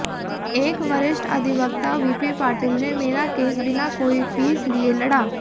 एक वरिष्ठ अधिवक्ता वीपी पाटिल ने मेरा केस बिना कोई फीस लिए लड़ा